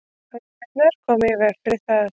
hömlurnar koma í veg fyrir það